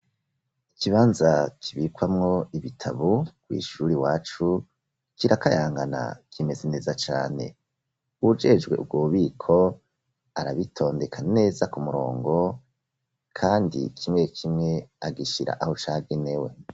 Ikibanza kibikwamo ibitabu kw'ishuri iwacu kirakayangana kimeze neza cane, uwujejwe ubwo bubiko arabitondeka neza ku murongo kandi kimwe kimwe agishira aho cagenewe.